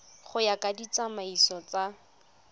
go ya ka ditsamaiso tsa